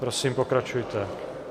Prosím, pokračujte.